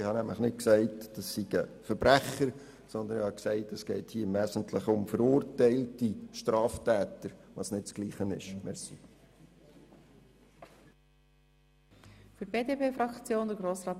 Ich habe nämlich nicht gesagt, es seien Verbrecher, sondern ich habe gesagt, es gehe hier im Wesentlichen um verurteilte Straftäter, was nicht dasselbe ist.